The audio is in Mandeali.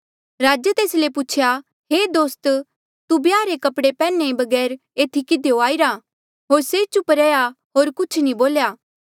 राजे तेस ले पूछेया हे दोस्त तू ब्याहा रे कपड़े पैहने बगैर एथी किधियो आईरा होर से चुप रेहा होर कुछ नी बोल्या